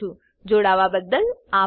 જોડાવા બદલ અભાર